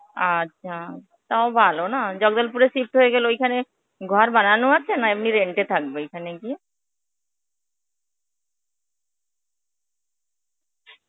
আচ্ছা, তাও ভালো না. জগদলপুরে shift হয়ে গেলে ঐখানে ঘর ভাড়া নেওয়া আছে না এমনই rent এ থাকেবে ওখানে গিয়ে.